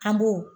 An b'o